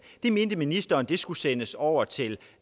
det mente ministeren skulle sendes over til